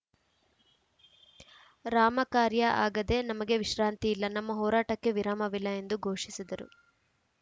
ರಾಮ ಕಾರ್ಯ ಆಗದೆ ನಮಗೆ ವಿಶ್ರಾಂತಿ ಇಲ್ಲ ನಮ್ಮ ಹೋರಾಟಕ್ಕೆ ವಿರಾಮವಿಲ್ಲ ಎಂದು ಘೋಷಿಸಿದರು